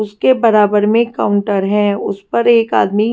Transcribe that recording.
उसके बराबर में काउंटर है उस पर एक आदमी --